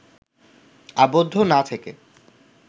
আবদ্ধ না থেকে